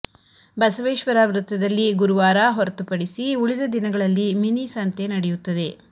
ಬಸವೇಶ್ವರ ವೃತ್ತದಲ್ಲಿ ಗುರುವಾರ ಹೊರತುಪಡಿಸಿ ಉಳಿದ ದಿನಗಳಲ್ಲಿ ಮಿನಿ ಸಂತೆ ನಡೆಯುತ್ತದೆ